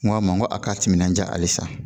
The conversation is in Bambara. N ko a ma n ko a ka timinandiya halisa